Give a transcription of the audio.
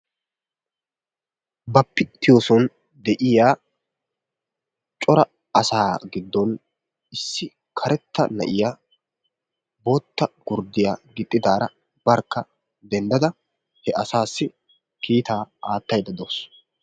Bappitiyoson de'iyaa cora asaa giddon issi karetta na'iyaa bootta gurddiyaa gixxidaara barkka denddada he asassi kiitaa aattaydde dawus.